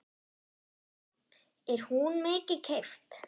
Erla: Er hún mikið keypt?